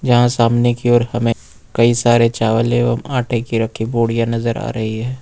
यहां सामने की ओर हमें कई सारे चावल एवं आटे की रखी बोरिया नजर आ रही है।